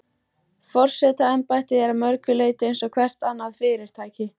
Forsetaembættið er að mörgu leyti eins og hvert annað fyrirtæki.